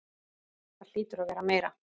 Það hlýtur að vera meira.